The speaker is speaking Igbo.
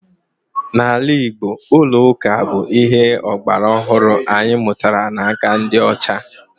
N'ala Igbo, ụlọ ụka bụ ihe ọgbara ọhụrụ anyị mụtara n'aka ndị ọcha